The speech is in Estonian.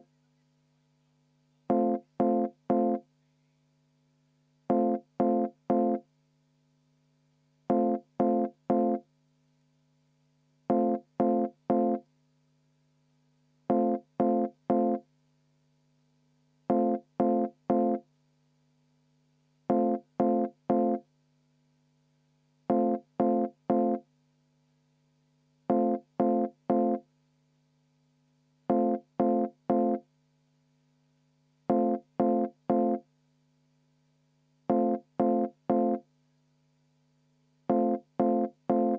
V a h e a e g